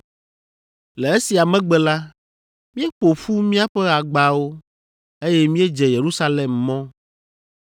Le esia megbe la, míeƒo ƒu míaƒe agbawo, eye míedze Yerusalem mɔ.